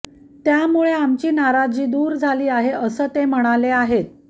त्यामुळे आमची नाराजी दूर झाली आहे असं ते म्हणाले आहेत